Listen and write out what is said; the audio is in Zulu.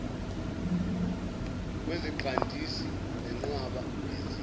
kweziqandisi nenqwaba yezitsha